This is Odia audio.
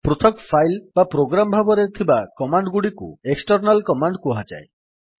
ପୃଥକ୍ ଫାଇଲ୍ପ୍ରୋଗ୍ରାମ୍ ଭାବରେ ଥିବା କମାଣ୍ଡ୍ ଗୁଡିକୁ ଏକ୍ସଟର୍ନାଲ୍ କମାଣ୍ଡ୍ କୁହାଯାଏ